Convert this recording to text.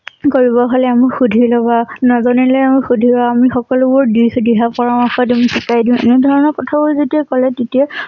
কৰিব হলে আমি সুধি লবা। নাজানিলে ও সুধিব আমি সকলোবোৰ দিহদিহা পৰামৰ্শ দিম। শিকাই দিম এনে ধৰণৰ কথাবোৰ যেতিয়া কলে তেতিয়া